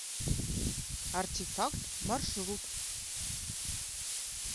артефакт маршрут